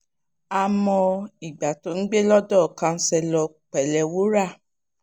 a mọ ìgbà tóò ń gbé lọ́dọ̀ councillor pèlewúrà